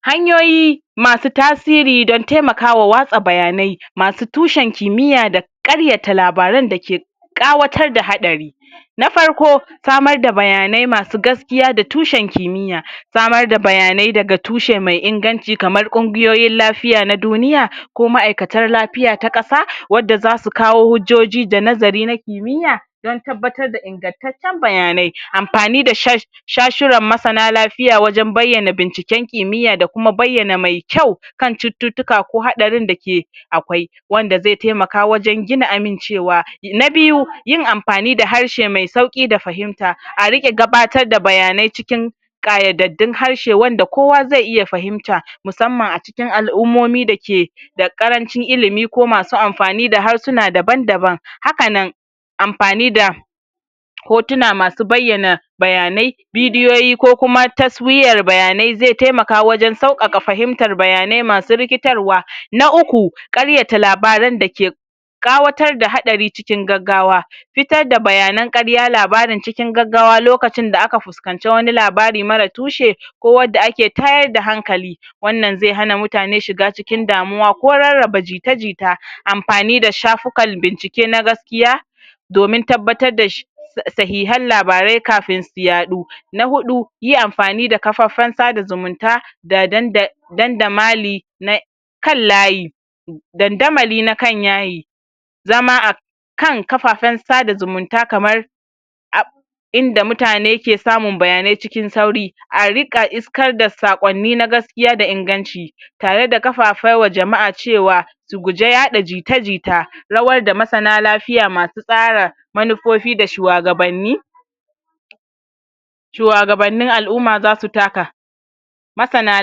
hanyoyi masu tasiri dan temakawa watsa bayanai masu tushen kimiya da da karyata labaran dake ƙawatar da haɗari na farko samar da bayanai masu gas kiya da tushen kimyya samar da bayanai daga tushe mai inganci kamar kun giyoyin lafiya na duniya ko ma'ikatar lafiya na ƙasa wdda zasu kawo hujjoji da anzari na kimiya dan tabbatar da ingantaccen bayanai anfani da sha sha shuran masana lafiya wajan bayyana binciken kimiya da kuma bayyana mai kyau kan cututtuka ko haɗarin dake akwai wanda zai temaka wajan gina amincewa na biyu yain anfani da harshe mai sauki da fahimta ariƙa gabatar da bayanai cikiin ƙayadadun harshe wanda kowa ze iya fahimta musamman acikin al'ummomin dake da ƙarancin ilimi ko masu anfani da harsuna daban daban hakanan anfani da hotuna masu bayyana bayanai bidiyoyi ko kuma taswiyar bayanai ze tamaka wajan sauƙaƙa fahimtar bayanai masu riktarwa. na uku ƙaryata labaran dakek ƙawatar da haɗari cikin gaggawa fitar da bayanan ƙarya labarin cikin gaggawa lokacin da aka fus kanci wani labari mara tushe ko wadda ake tayar da hankali wanan ze hana mutane shiga cikin damuwa ko rarraba jita jita anpani da shafukan bincike na gas kiya domin tabbatar da shi da shihan labarai kafin su yaɗu na huɗu yi anfani da kafafan sada zumunta da danda dadamali na kan layi dandamali na kan yayi zama a kan kafafen sada zumunta kamar inda mutane suke samun bayanai cikin sauri ariƙa kar da saƙonni na gas kiya da inganci tare da kafafai wa jama'a cewa su guje yaɗa jite jita rawar da masana lafiya ma su tsara manu fofi da shuwagabanin suwagabanin al'umma zasu taka masana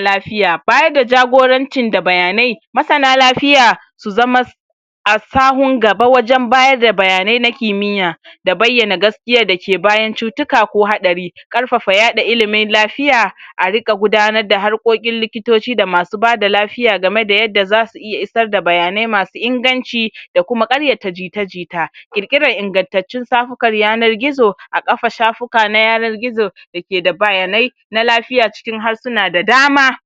lafiya, baya da jagorancin da bayanai masana lafiya suzama a sahun gaba wajan bada bayanaina kimiya da bayana gaskiya dake bayan cutuka ko haɗari karfafa yaɗa ilimin lafiya arika gudanar da harkokin likitoci da masu bada lafiya game da yadda zasu iya isar da bayanai masu inganci yakuma karyata jita jita kirkiran ingantattun shafukan yanar gizo a kafa shafuka na yanar gizo dake da bayanai na lafiya cikin harsuna da dama